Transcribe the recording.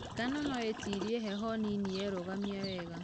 Ngano nũĩtirie heho nini yerũgamia wega.